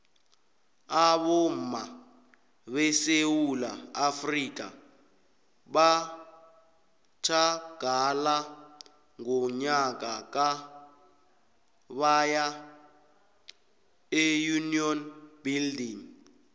abomma besewula afrika batjhagala ngonyaka ka baya eunion building